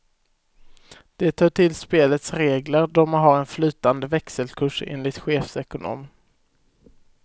Det hör till spelets regler då man har en flytande växelkurs, enligt chefsekonomen.